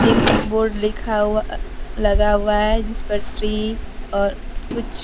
एक बोर्ड लिखा हुआ लगा हुआ हैं जिस पर ट्री और कुछ।